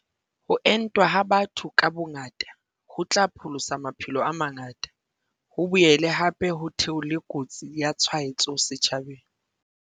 Ho entwa ha batho ka bongata, ho tla pholosa maphelo a mangata, ho boele hape ho theole kotsi ya tshwaetso setjhabeng.